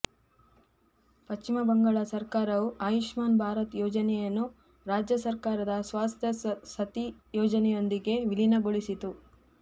ಪಶ್ಚಿಮ ಬಂಗಾಳ ಸರ್ಕಾರವು ಆಯುಷ್ಮಾನ್ ಭಾರತ್ ಯೋಜನೆಯನ್ನು ರಾಜ್ಯ ಸರ್ಕಾರದ ಸ್ವಾಸ್ತ್ಯ ಸಥಿ ಯೋಜನೆಯೊಂದಿಗೆ ವಿಲೀನಗೊಳಿಸಿತ್ತು